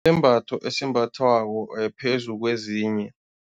esimbathwako phezu kwezinye.